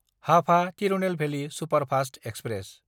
Hapa Tirunelveli superfast express